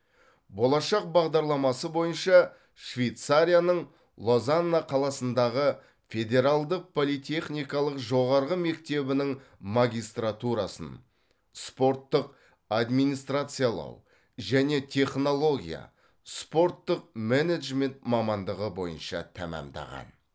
болашақ бағдарламасы бойынша швейцарияның лозанна қаласындағы федералдық политехникалық жоғарғы мектебінің магистратурасын спорттық админинистрациялау және технология спорттық менеджмент мамандығы бойынша тәмамдаған